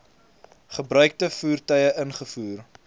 gebruikte voertuie ingevoer